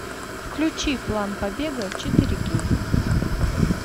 включи план побега четыре кей